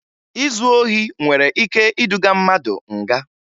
Izu ohi nwere ike iduga mmadụ nga